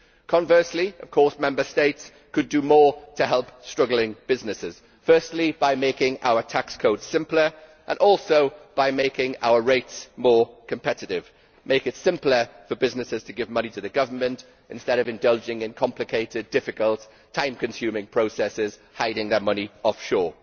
Conversely, of course, Member States could do more to help struggling businesses by making tax codes simpler and making our rates more competitive and thus making it simpler for businesses to give money to the government, instead of indulging in complicated, difficult and time consuming processes for hiding their money offshore.